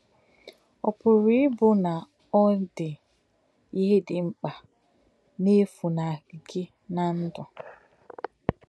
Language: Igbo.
Ọ̀ pụ̀rù̄ íbụ̄ na ọ̀ dí̄ íhè dị̄ ḿkpā nā-è̄fù̄nàhụ́ gị̄ nà̄ ǹdụ̀?